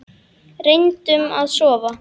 Reyndum að sofna.